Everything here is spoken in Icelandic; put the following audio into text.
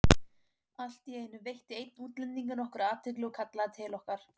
Allt í einu veitti einn útlendinganna okkur athygli og kallaði til okkar.